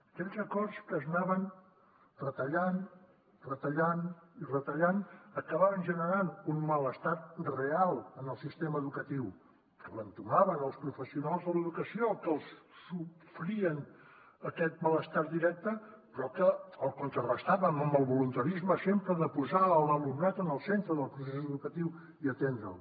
aquells acords que s’anaven retallant retallant i retallant acabaven generant un malestar real en el sistema educatiu que entomaven els professionals de l’educació que el sofrien aquest malestar directe però que el contrarestàvem amb el voluntarisme sempre de posar l’alumnat en el centre del procés educatiu i atendre’l